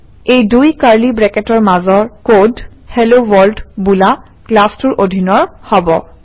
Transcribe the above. এই দুই কাৰ্লি ব্ৰেকেটৰ মাজৰ কড হেলোৱৰ্ল্ড বোলা ক্লাছটোৰ অধীনৰ হব